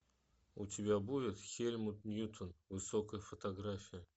у тебя будет хельмут ньютон высокая фотография